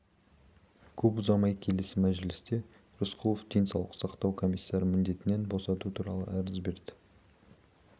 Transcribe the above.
көп ұзамай келесі мәжілісінде рысқұлов денсаулық сақтау комиссары міндетінен босату туралы арыз берді